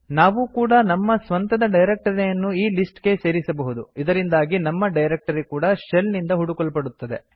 ನಾವೂ ಕೂಡಾ ನಮ್ಮ ಸ್ವಂತದ ಡೈರಕ್ಟರಿಯನ್ನು ಈ ಲಿಸ್ಟ್ ಗೆ ಸೇರಿಸಬಹುದು ಇದರಿಂದಾಗಿ ನಮ್ಮ ಡೈರಕ್ಟರಿ ಕೂಡಾ ಶೆಲ್ ನಿಂದ ಹುಡುಕಲ್ಪಡುತ್ತದೆ